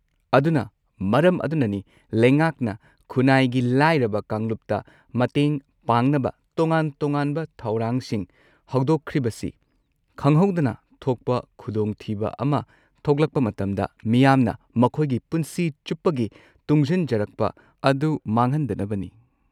ꯑꯗꯨꯅ ꯃꯔꯝ ꯑꯗꯨꯅꯅꯤ ꯂꯩꯉꯥꯛꯅ ꯈꯨꯟꯅꯥꯏꯒꯤ ꯂꯥꯏꯔꯕ ꯀꯥꯡꯂꯨꯞꯇ ꯃꯇꯦꯡ ꯄꯥꯡꯅꯕ ꯇꯣꯉꯥꯟ-ꯇꯣꯉꯥꯟꯕ ꯊꯧꯔꯥꯡꯁꯤꯡ ꯍꯧꯗꯣꯛꯈ꯭ꯔꯤꯕꯁꯤ; ꯈꯪꯍꯧꯗꯅ ꯊꯣꯛꯄ ꯈꯨꯗꯣꯡꯊꯤꯕ ꯑꯃ ꯊꯣꯛꯂꯛꯄ ꯃꯇꯝꯗ, ꯃꯤꯌꯥꯝꯅ ꯃꯈꯣꯏꯒꯤ ꯄꯨꯟꯁꯤ ꯆꯨꯞꯄꯒꯤ ꯇꯨꯡꯁꯤꯟꯖꯔꯛꯄ ꯑꯗꯨ ꯃꯥꯡꯍꯟꯗꯅꯕꯅꯤ꯫